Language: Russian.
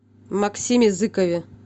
максиме зыкове